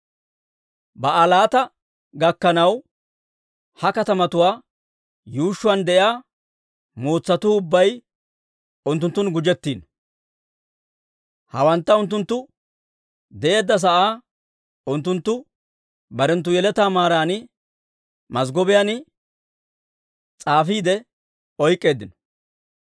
Ba'aalaata gakkanaw, ha katamatuwaa yuushshuwaan de'iyaa mootsatuu ubbay unttunttun gujettiino. Hawantta unttunttu de'eedda sa'aa unttunttu barenttu yeletaa maaran mazggobiyaan s'aafiide oyk'k'eeddino.